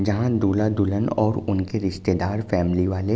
जहां दूल्हा दुल्हन औंर उनके रिश्तेदार फॅमिली वाले --